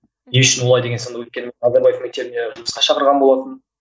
не үшін олай деген сынды өйткені назарбаев мектебіне жұмысқа шақырған болатын